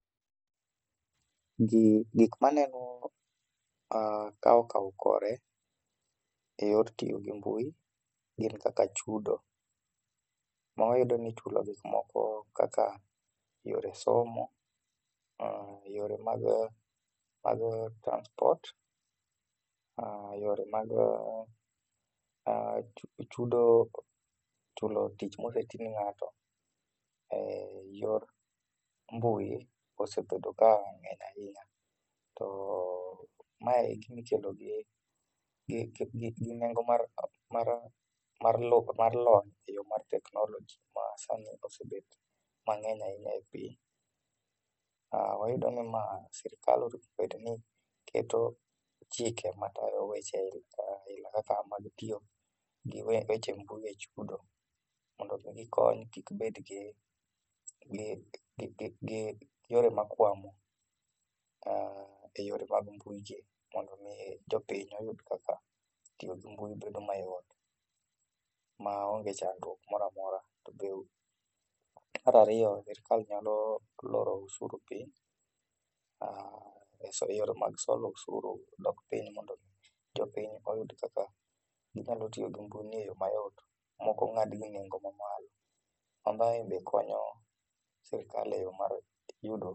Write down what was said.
Gikma aneno ka okao kore e yor tiyo gi mbui gin kaka chudo ma iyudo ni ichulo gikmoko kaka yore somo, yore mag mag transport, yore mag chudo ,chulo tich ma osetii ne ng'ato. Yor mbui osebedo ka ngeny ahinya to mae en gima ikelo gi nengo mar lony eyor mar teknoloji ma osebedo mangeny ahinya e piny. Wayudo ni ma, sirkall owinjo obed ni keto chike matayo weche aila kaka mag tiyo gi weche mbui e chudo mondo gikony kik bedgi yore makwamo e yore mag mbui gi mondo mi jopiny oyud kaka tiyo gi mbui bedo mayot maonge chandruok moro amora. Mar ariyo sirkal nyalo loro osuru piny e yore mag solo osuru dok piny mondo jopiny oyud kaka ginyalo tiyo gi mbui ni e yoo mayot maok ongad gi e bei mamalo ma mae bende konyo sirkal e yudo